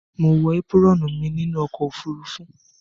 Mo wo apuron mí nínú okò òfurufú